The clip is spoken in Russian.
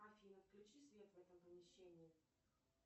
афина включи свет в этом помещении